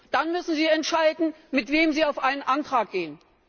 Dann müssen Sie entscheiden, mit wem Sie auf einen Antrag gehen.